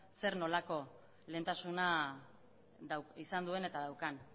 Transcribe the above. zer nolako lehentasuna izan duen eta daukan